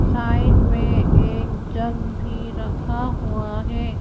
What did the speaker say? Side में एक jug भी रखा हुआ है।